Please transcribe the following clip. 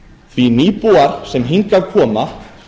því nýbúar sem hingað koma